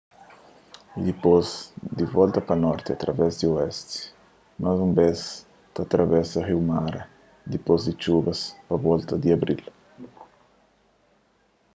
y dipôs di volta pa norti através di oesti más un bês ta atravesa riu mara dipôs di txubas pa volta di abril